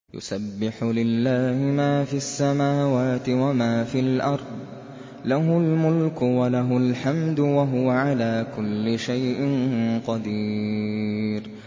يُسَبِّحُ لِلَّهِ مَا فِي السَّمَاوَاتِ وَمَا فِي الْأَرْضِ ۖ لَهُ الْمُلْكُ وَلَهُ الْحَمْدُ ۖ وَهُوَ عَلَىٰ كُلِّ شَيْءٍ قَدِيرٌ